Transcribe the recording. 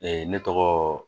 ne tɔgɔ